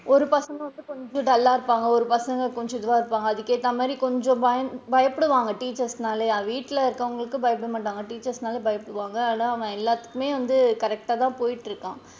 ஒரு பசங்க கொஞ்சம் dull லா இருப்பாங்க ஒரு பசங்க கொஞ்சம் இதுவா இருக்காங்க அதுக்கு ஏத்தமாதிரி கொஞ்சம் பயந்து பயப்படுவாங்க teachers னாலயே வீட்ல இருக்கவுங்களுக்கு பயப்பட மாட்டாங்க teachers னா தான் பயப்படுவாங்க அதான் நான் எல்லாத்துக்குமே வந்து correct டா தான் போயிட்டு இருக்கான்.